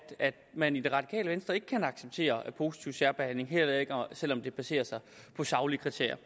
man i det radikale venstre ikke kan acceptere positiv særbehandling heller ikke selv om det baserer sig på saglige kriterier